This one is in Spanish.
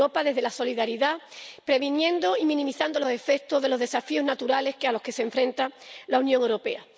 más Europa desde la solidaridad, previniendo y minimizando los efectos de los desafíos naturales a los que se enfrenta la Unión Europea.